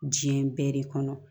Diɲɛ bɛɛ de kɔnɔ